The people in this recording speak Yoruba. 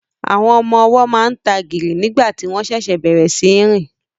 Àwọn ọmọ ọwọ́ máa ń tagìrì nígbà tí wọ́n ṣẹ̀ṣẹ̀ bẹ̀rẹ̀ sí í rìn